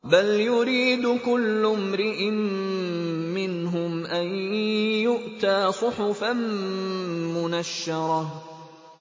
بَلْ يُرِيدُ كُلُّ امْرِئٍ مِّنْهُمْ أَن يُؤْتَىٰ صُحُفًا مُّنَشَّرَةً